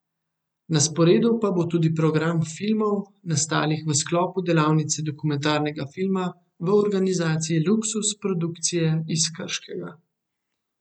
Na sporedu pa bo tudi program filmov, nastalih v sklopu delavnice dokumentarnega filma v organizaciji Luksuz produkcije iz Krškega.